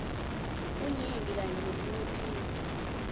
bunyenti kanye netinciphiso